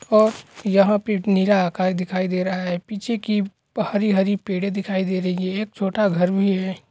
ओर यहाँ पे नीला आकाश दिखाई दे रहा हे पीछे की पहरी हरी पेड़े दिखाई दी रही हैं छोटा घर भी हे।